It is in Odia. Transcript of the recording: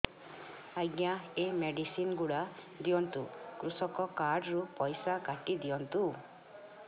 ଆଜ୍ଞା ଏ ମେଡିସିନ ଗୁଡା ଦିଅନ୍ତୁ କୃଷକ କାର୍ଡ ରୁ ପଇସା କାଟିଦିଅନ୍ତୁ